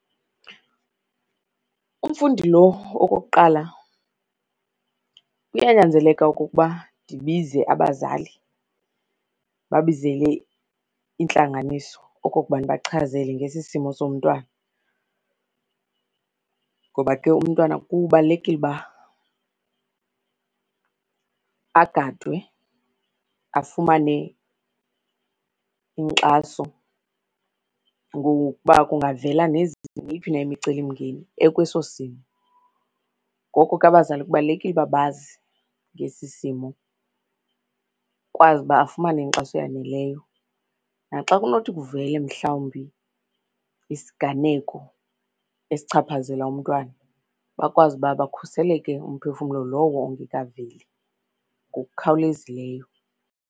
Umfundi lo okokuqala, kuyanyanzeleka ukuba ndibize abazali, ndibabizele intlanganiso okokuba ndibachazele ngesi simo somntwana. Ngoba ke umntwana kubalulekile uba agadwe, afumane inkxaso ngokuba kungavela neyiphi na imicelimngeni ekweso simo. Ngoko ke abazali kubalulekile uba bazi ngesi simo kukwazi uba afumane inkxaso eyaneleyo. Naxa kunothi kuvele mhlawumbi isiganeko esichaphazela umntwana, bakwazi uba bakhuseleke umphefumlo lowo ongekaveli ngokukhawulezileyo.